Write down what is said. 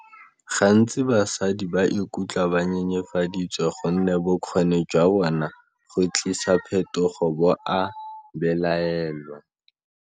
Gantsi, basadi ba ikutlwa ba nyenyefaditswe gonne bokgoni jwa bona go tlisa phetogo bo a belaelwa.